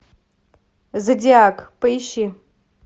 зодиак поищи